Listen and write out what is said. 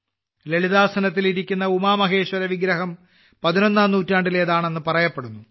ലളിതാസനത്തിൽ ഇരിക്കുന്ന ഉമാമഹേശ്വര വിഗ്രഹം 11ാം നൂറ്റാണ്ടിലേതാണെന്ന് പറയപ്പെടുന്നു